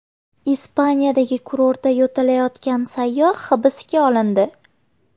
Ispaniyadagi kurortda yo‘talayotgan sayyoh hibsga olindi.